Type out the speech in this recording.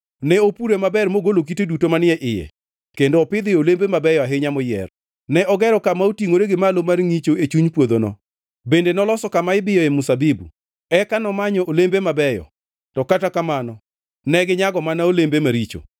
Ne opure maber mogolo kite duto manie iye kendo opidhoe olembe mabeyo ahinya moyier. Ne ogero kama otingʼore gi malo mar ngʼicho e chuny puodhono bende noloso kama ibiyoe mzabibu. Eka nomanyo olembe mabeyo to kata kamano neginyago mana olembe maricho.